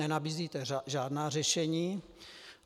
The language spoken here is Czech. Nenabízíte žádná řešení.